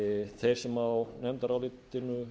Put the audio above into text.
þeir sem á nefndarálitinu